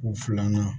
U filanan